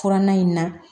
Furanna in na